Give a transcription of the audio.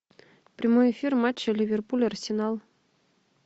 прямой эфир матча ливерпуль арсенал